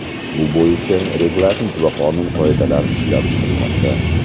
Bu bo‘yicha reglament va qonun-qoidalar ishlab chiqilmoqda.